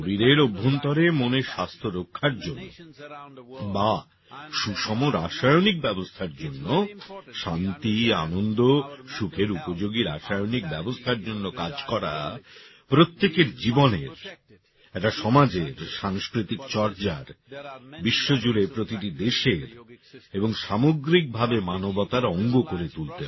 শরীরের অভ্যন্তরে মনের স্বাস্থ্য রক্ষার জন্য বা সুষম রাসায়নিক ব্যবস্থার জন্য শান্তি আনন্দ সুখের উপযোগী রাসায়নিক ব্যবস্থার জন্য কাজ করা প্রত্যেকের জীবনের একটা সমাজের সাংস্কৃতিক চর্যার বিশ্বজুড়ে প্রতিটি দেশের এবং সামগ্রিকভাবে মানবতার অঙ্গ করে তুলতে হবে